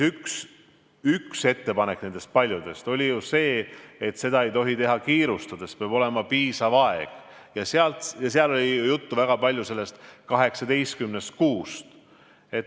Üks ettepanek oli see, et seda ei tohi teha kiirustades, peab olema piisav aeg, seal oli väga palju juttu sellest 18 kuust.